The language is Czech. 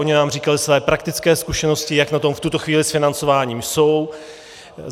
Oni nám říkali své praktické zkušenosti, jak na tom v tuto chvíli s financováním jsou.